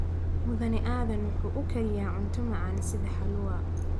Mudane Aadan waxa uu kariyaa cunto macaan sida halua